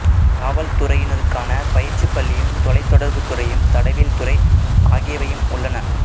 காவல்துறையினருக்கான பயிற்சிப் பள்ளியும் தொலைத்தொடர்புத் துறையும் தடயவியல் துறை ஆகியவையும் உள்ளன